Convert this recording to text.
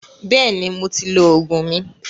Bẹ́ẹ̀ni, mo ti lọ Ògùn mi